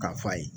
K'a f'a ye